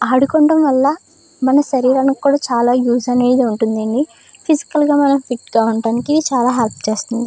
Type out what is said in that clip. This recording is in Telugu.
ఆడుకోవడం వల్ల మన శరీరానికి కూడా చాలా యూజ్ అనేది ఉంటుందండి . ఫిసికల్గా మనం ఫిట్ గా ఉండడానికి ఇది చాలా హెల్ప్ చేస్తుంది.